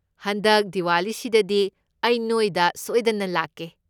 ꯍꯟꯗꯛ ꯗꯤꯋꯥꯂꯤꯁꯤꯗꯗꯤ ꯑꯩ ꯅꯣꯏꯗ ꯁꯣꯏꯗꯅ ꯂꯥꯛꯀꯦ꯫